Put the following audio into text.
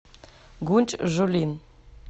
гунчжулин